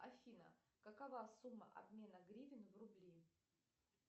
афина какова сумма обмена гривен в рубли